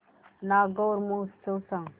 नागौर महोत्सव सांग